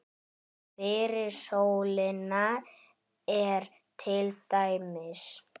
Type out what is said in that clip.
Fyrir sólina er til dæmis